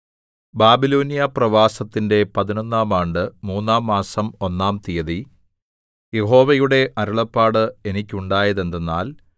ബാബിലോന്യ പ്രവാസത്തിന്റെ പതിനൊന്നാം ആണ്ട് മൂന്നാം മാസം ഒന്നാം തീയതി യഹോവയുടെ അരുളപ്പാട് എനിക്കുണ്ടായത് എന്തെന്നാൽ